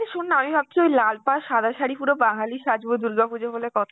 এই শোন না আমি ভাবছি ওই লাল পাড় সাদা শাড়ি পুরো বাঙালি সাজবো, দুর্গা পুজো বলে কথা